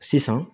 Sisan